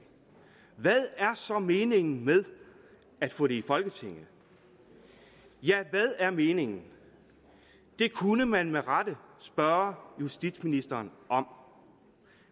hvad er så meningen med at få det i folketinget ja hvad er meningen det kunne man med rette spørge justitsministeren om